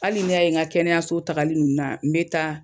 Hali n'i y'a ye n ka kɛnɛyaso tali ninnu na n bɛ taa